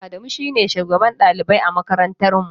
Adamu shi ne shugaban ɗalibai a makarantata.